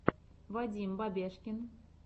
вадим бабешкин